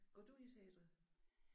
Går du i teatret?